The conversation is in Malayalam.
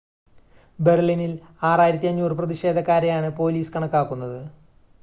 ബെർലിനിൽ 6,500 പ്രതിഷേധക്കാരെയാണ് പോലീസ് കണക്കാക്കുന്നത്